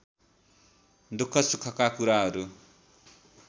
दुःख सुखका कुराहरू